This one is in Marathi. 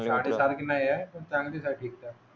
आहे.